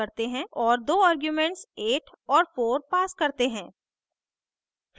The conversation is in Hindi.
और दो आर्ग्यूमेंट्स 8 और 4 pass करते हैं